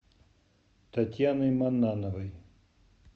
татьяной маннановой